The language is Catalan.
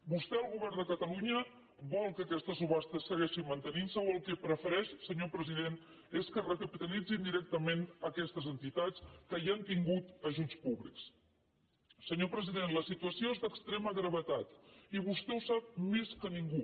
vostè el govern de catalunya vol que aquesta subhasta segueixi mante·nint·se o el que prefereix senyor president és que es recapitalitzin directament aquestes entitats que ja han tingut ajuts públics senyor president la situació és d’extrema gravetat i vostè ho sap més que ningú